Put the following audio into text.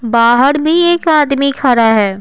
बाहर भी एक आदमी खड़ा है।